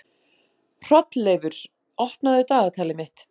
Hrolleifur, opnaðu dagatalið mitt.